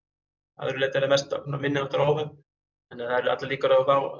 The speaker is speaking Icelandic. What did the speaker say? að öðru leyti er það mest minniháttar óhöpp það eru allar líkur á